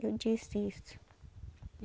Eu disse isso.